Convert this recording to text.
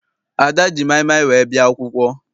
Ada ji maịmaị wee bịa akwụkwọ.